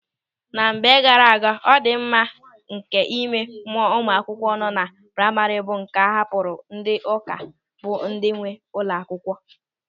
Na mgbe gaara aga, ọdịmma nke ịme mụọ ụmụ akwụkwọ nọ na praima bụ nke a hapụrụ ndị ụka bụ ndị nwe ụlọ akwụkwọ.